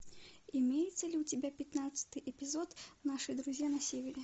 имеется ли у тебя пятнадцатый эпизод наши друзья на севере